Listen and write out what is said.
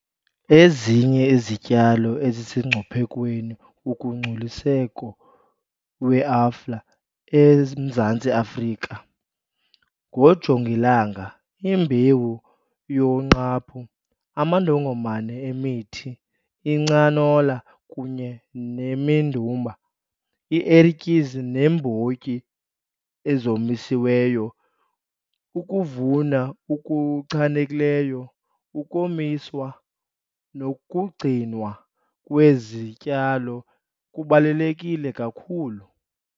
Ezinye izityalo ezisengcuphekweni wokungcoliseko lweAFLA eMzantsi Afrika ngoojongilanga, imbewu yonqaphu, amandongomane emithi, incanola kunye nemindumba, iiertyisi neembotyi ezomisiweyo. Ukuvuna okuchanekileyo, ukomiswa nokugcinwa kwezityalo kubalulekile kakhulu.